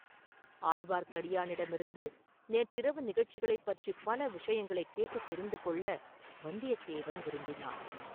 ஆழ்வார்க்கடியானிடமிருந்து நேற்றிரவு நிகழ்ச்சிகளைப் பற்றிப் பல விஷயங்களைக் கேட்டுத் தெரிந்து கொள்ள வந்தியத்தேவன் விரும்பினான்.